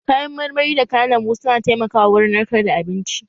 Kayan marmari da kayan lambu su na taimaka wa wurin narkar da abinci